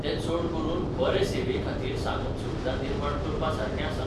तें चड करून बरे सेवेखातीर साधनसुविधा निर्माण करपासारकें आसा.